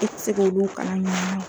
E te se k'olu kalan a ɲɔgɔnna ye.